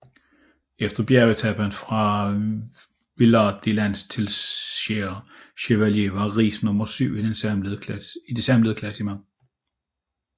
Efter bjergetapen fra Villard De Lans til Serre Chevalier var Riis nummer syv i det samlede klassement